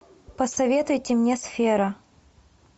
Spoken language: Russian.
посоветуйте мне сфера